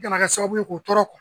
N gana kɛ sababu ye k'o tɔɔrɔ